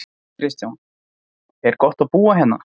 Kristján: Er gott að búa hérna?